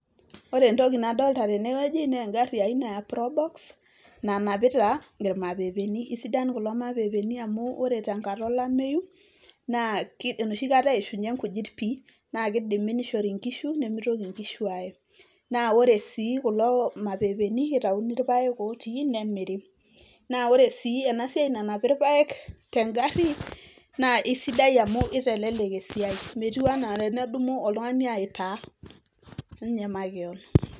ore entoki nadolta tenewueji naa engarri aina ya probox nanapita irmapepeni isidan kulo mapepeni amu ore tenkata olameyu naa ki enoshi kata eishunye nkujit pii naa kidimi nishori inkishu nemitoki nkishu aye naa ore sii kulo mapepeni eitauni irpayek otii nemiri naa ore sii ena siai nanapi irpayek tengarri naa isidai amu itelelek esiai metiu anaa enedumu oltung'ani aitaa ninye makewon.